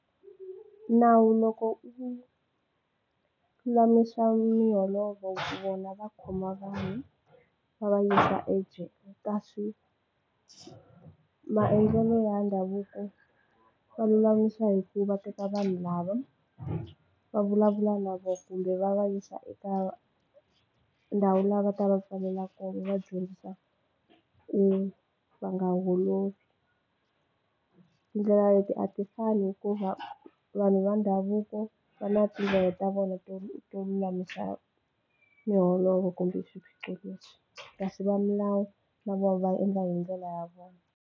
Nawu loko u lulamisa miholovo vona va khoma vanhu va va yisa ejele kasi maendlelo ya ndhavuko va lulamisa hi ku va teka vanhu lava va vulavula na kumbe va va yisa eka ndhawu la va ta va pfalela kona va dyondzisa ku va nga holovi tindlela leti a ti fani hikuva vanhu va ndhavuko va na tindlela ta vona to to lulamisa miholovo kumbe swiphiqo leswi kasi va milawu na vona va endla hi ndlela ya vona.